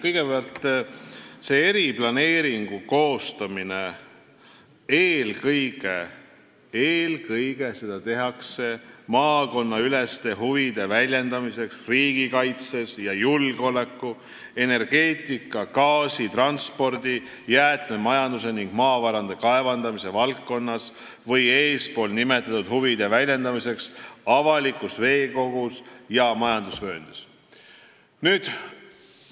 Kõigepealt, eriplaneering koostatakse eelkõige maakonnaüleste huvide väljendamiseks riigikaitse ja julgeoleku, energeetika, gaasi, transpordi, jäätmemajanduse ning maavarade kaevandamise valdkonnas või eespool nimetatud avaliku veekogu ja majandusvööndiga seotud huvide väljendamiseks.